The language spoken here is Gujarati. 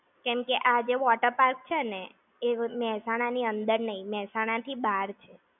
કેમ કે આ જે water park છે ને, એ મેહસાણા ની અંદર નઈ, મેહસાણા થી બાર છે.